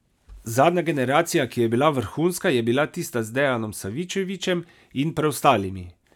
Zadnja generacija, ki je bila vrhunska, je bila tista z Dejanom Savičevićem in preostalimi.